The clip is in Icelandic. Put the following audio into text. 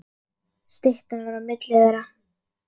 Styttan var á milli þeirra.